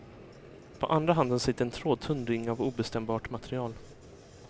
På andra handen sitter en trådtunn ring av obestämbart material.